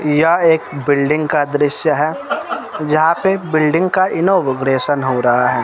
यह एक बिल्डिंग का दृश्य है जहां पे बिल्डिंग का इनॉग्रेशन हो रहा है।